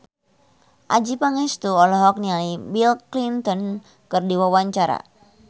Adjie Pangestu olohok ningali Bill Clinton keur diwawancara